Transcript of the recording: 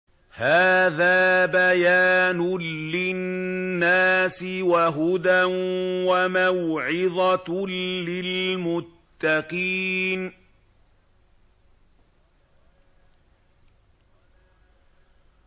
هَٰذَا بَيَانٌ لِّلنَّاسِ وَهُدًى وَمَوْعِظَةٌ لِّلْمُتَّقِينَ